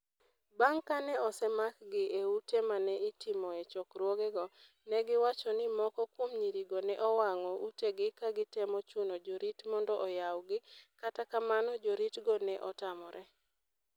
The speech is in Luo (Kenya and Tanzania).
Bang ' kane osemakgi e ute ma ne itimoe chokruogego, ne giwacho ni moko kuom nyirigo ne owang'o utegi ka gitemo chuno jorit mondo oyawgi, kata kamano, joritgo ne otamore.